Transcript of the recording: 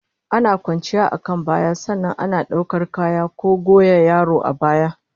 Ana kwanciyar akan baya, sannan ana daukar kaya ko goya yaro a baya